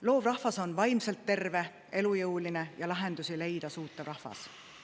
Loov rahvas on vaimselt terve, elujõuline ja lahendusi leida suutev rahvas.